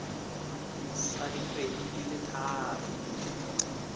sa dikgwedi di le tharo